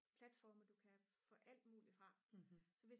platforme du kan få alt muligt fra så hvis